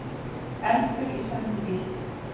Eldur í sendibíl